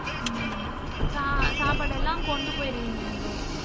உம் சா~சாப்பாடு எல்லாம் கொண்டு போயிருவீங்க அங்கேயே.